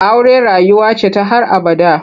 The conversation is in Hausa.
Aure rayuwa ce ta har abada.